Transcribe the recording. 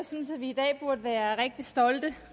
synes at vi i dag burde være rigtig stolte